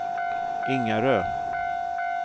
Ingarö